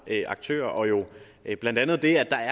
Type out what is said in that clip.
aktører blandt andet af det at der